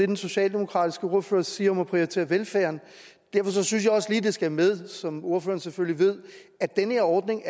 den socialdemokratiske ordfører siger om at prioritere velfærden derfor synes jeg også lige at det skal med som ordføreren selvfølgelig ved at den her ordning